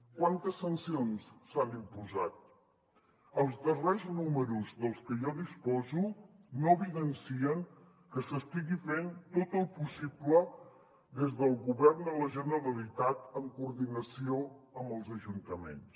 quantes sancions s’han imposat els darrers números dels que jo disposo no evidencien que s’estigui fent tot el possible des del govern de la generalitat en coordinació amb els ajuntaments